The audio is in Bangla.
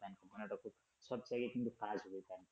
সব থেকে কিন্তু fast বোঝায়